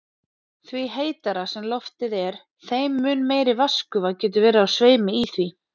Því heitara sem loftið er, þeim mun meiri vatnsgufa getur verið á sveimi í því.